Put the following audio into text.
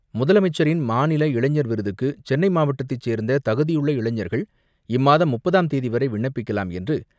முதலமைச்சரின் மாநில இளைஞர் விருதுக்கு சென்னை மாவட்டத்தை சேர்ந்த தகுதியுள்ள இளைஞர்கள் இம்மாதம் முப்பதாம் தேதிவரை விண்ணப்பிக்கலாம் என்று,